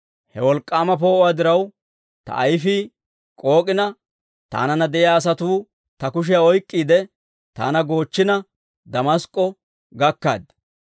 He wolk'k'aama poo'uwaa diraw, ta ayfii k'ook'ina, taananna de'iyaa asatuu ta kushiyaa oyk'k'iide, taana goochchina, Damask'k'o gakkaaddi.